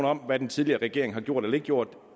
om hvad den tidligere regering har gjort eller ikke gjort